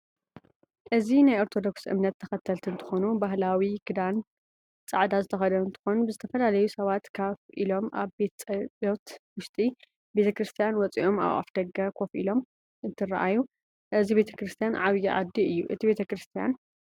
እዚ ናይ ኣርቶዶክስ እምነት ተከተልቲ እንትኮኑ ባህላዊ ክዳን ፃዕዳ ዝተከደኑ እንትከኑ ዝተፈላላዩ ሳባት ካፍ ኢሎም ኣብቲ ቤተ ፀሎት ውሽጢ ቤክርስትያን ወፅኦም ኣብ ደገ ከፍ አሎም እንትርኣዩ እዚ ቤተክርስትያን ኣብይ ዓዲ እዩ እቲ ቤተክርስትያን?